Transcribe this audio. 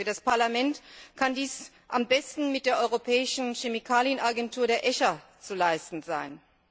Für das Parlament kann dies am besten mit der europäischen Chemikalienagentur, der ECHA zu leisten sein.